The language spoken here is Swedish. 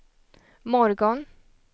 morgon